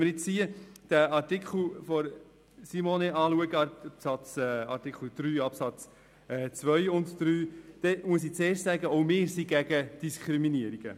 Wenn man nun den Antrag von Grossrätin Machado zu Artikel 3 Absatz 2 und 3 betrachtet, muss ich zunächst festhalten, dass auch wir gegen Diskriminierung sind.